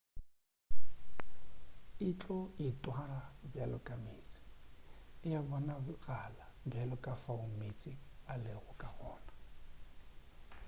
e tlo itwara bjalo ka meetse e a bonagala bjalo ka fao meetse a lego ka gona